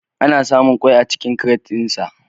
Ana samun kwai a cikin kiret ɗin sa